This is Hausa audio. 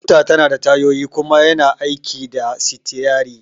Mota tanada tayoyi kuma yana aiki da sitiyari